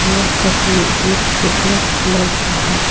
यह तस्वीर एक फिटनेस क्लब का है।